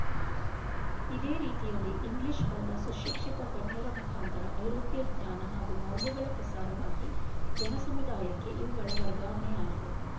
ಇದೇ ರೀತಿಯಲ್ಲಿ ಇಂಗ್ಲೀಷ್ ಬಲ್ಲ ಸುಶಿಕ್ಶಿತ ಗಣ್ಯರ ಮುಖಾಂತರ ಐರೋಪ್ಯ ಜ್ಞಾನ ಹಾಗೂ ಮೌಲ್ಯಗಳ ಪ್ರಸಾರವಾಗಿ ಜನಸಮುದಾಯಕ್ಕೆ ಇವುಗಳ ವರ್ಗಾವಣೆಯಾಗಿದೆ